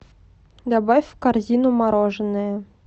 добавь в корзину мороженое